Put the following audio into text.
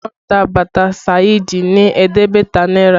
Wọ́n ta bàtà Saidi ní ẹ̀ẹ́dẹ́gbẹ̀ta náírà